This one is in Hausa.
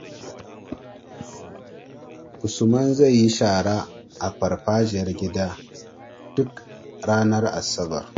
Usman zai yi shara a farfajiyar gida duk ranar Asabar.